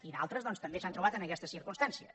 i d’altres també s’han trobat en aquestes circumstàncies